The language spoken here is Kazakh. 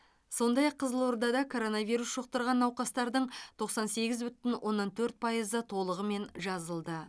сондай ақ қызылордада коронавирус жұқтырған науқастардың тоқсан сегіз бүтін оннан төрт пайызы толығымен жазылды